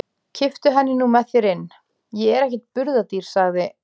Kipptu henni nú með þér inn, ég er ekkert burðardýr, sagði